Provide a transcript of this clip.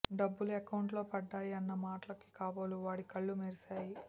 డబ్బులు ఎకౌంట్లో పడ్డాయి అన్న మాటలకి కాబోలు వాడి కళ్లు మెరిశాయి